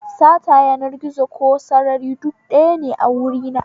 Sata yanar gizo ko sarari duk ɗayane a wurina